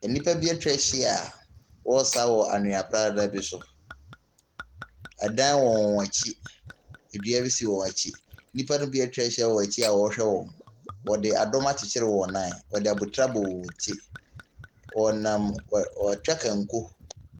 Nipa be etwa hyia wɔ sa wɔ anwea pradaa bi so. Ɛdan wɔ wɔn akyi, ndua si wɔ wɔn akyi. Nipa no be etwa hyia wɔ wɔn akyi a wɔ ɛhyɛ wɔn. Wɔ di a dom akyekere wɔn nan. Wɔdi di abotire abɔ wɔn ti. Wɔ twa kanko.